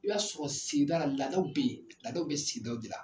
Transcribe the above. I b'a sɔrɔ sigida laadaw be yen laadaw bɛ sigidaw de la.